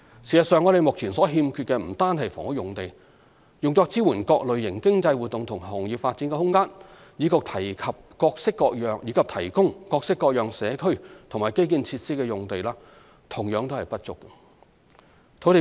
事實上，我們目前所欠缺的不單是房屋用地，用作支援各類型經濟活動及行業發展的空間，以及提供各式各樣社區及基建設施的用地同樣不足。